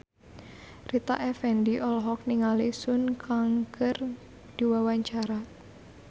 Rita Effendy olohok ningali Sun Kang keur diwawancara